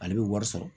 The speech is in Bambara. Ale bɛ wari sɔrɔ